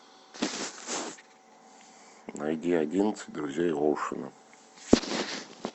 найди одиннадцать друзей оушена